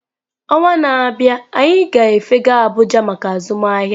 Ọnwa na-abịa, anyị ga-efega abuja maka azụmahịa